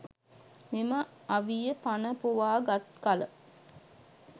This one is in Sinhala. මෙම අවිය පණ පොවා ගත් කල